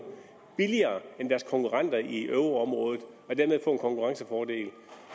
billigere end deres konkurrenter i euroområdet og dermed få en konkurrencefordel